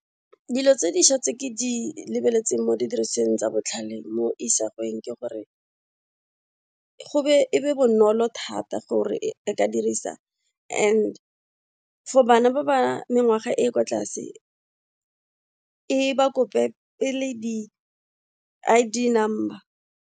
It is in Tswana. Dilo tse dišwa tse ke di lebeletseng mo didirisiweng tsa botlhale mo isagweng ke gore e be bonolo thata gore e ka dirisa and for bana ba ba mengwaga e e kwa tlase e ba kope pele di I_D number.